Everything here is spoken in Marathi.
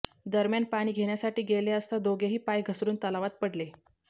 दरम्यान पाणी घेण्यासाठी गेले असता दोघेही पाय घसरून तलावात पडले